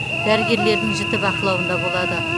дәрігерлердің жіті бақылауында болады